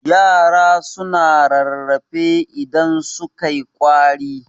yara suna rarrafe idan sukai kwari